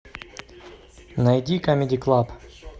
найди камеди клаб